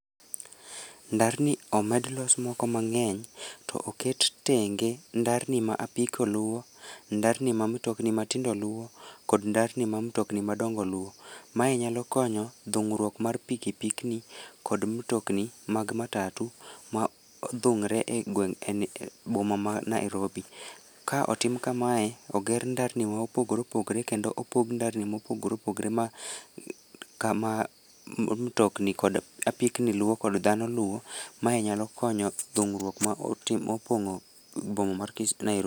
Ndarni omed los moko mang'eny, to oket tenge ndarni ma apiko luwo, ndarni ma mtokni matindo luwo, kod ndarni ma mtokni madongo luwo. Mae nyalo konyo dhung'ruok mar pikipiki ni kod mtokni mag matatu, ma odhung're e gweng' e boma ma Nairobi. Ka otim kamae, oger ndarni ma opogore opogre kendo opog ndarni ma opogre opogre ma kama mtokni kod apikni luwo kod dhano luwo, mae nyalo konyo dhung'ruok ma otimo opong'o boma mar ma Nairobi